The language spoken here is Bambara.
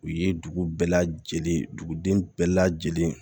U ye dugu bɛɛ lajɛlen dugu den bɛɛ lajɛlen